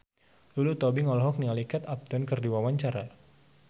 Lulu Tobing olohok ningali Kate Upton keur diwawancara